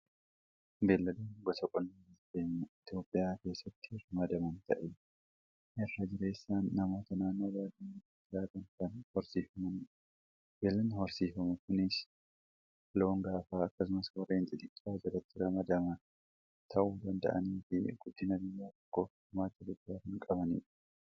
Beelladonni gosa qonnaa biyya keenya Itoophiyaa keessatti ramadaman ta'ee irraa jireessaan namoota naannoo baadiyyaa keessa jiraataniin kan horsiifamanidha. Belladni horsiifamu kuniis loon gaafaa akkasumas warreen xixiqaa jalatti ramadaman ta'uu danda'anii fi guddina biyya tokkoof gumaacha guddaa kan qabanidha.